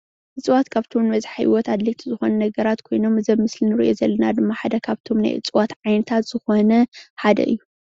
እፅዋት ንኣብዘሓ ሂወት ካብቶም ኣድለይቲ ኣድላይቲ ዝኮኑ ነገራት ኮይኖም እዚ ኣብ ምስሊ እንሪኦ ዘለና ድማ ካብቶም ናይ እፅዋታት ዓይነት ዝኮነ ሓደ እዩ፡፡